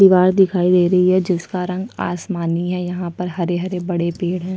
दिवार दिखाई दे रहा है जिसका रंग आसमनी है यहाँ पर हरे-हरे बड़े पेड़ है।